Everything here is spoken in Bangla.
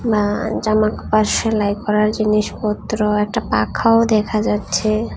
আ জামা কাপড় সেলাই করার জিনিসপত্র একটা পাখাও দেখা যাচ্ছে।